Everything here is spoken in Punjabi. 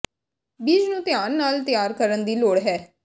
ਬੀਜ ਨੂੰ ਧਿਆਨ ਨਾਲ ਤਿਆਰ ਕਰਨ ਦੀ ਲੋੜ ਹੈ